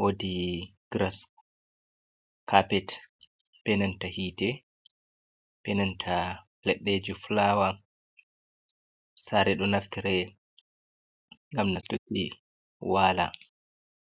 wodi giras kapet benanta hite, benanta leɗɗeji fulawa sare ɗo naftire ngam nastuki wala.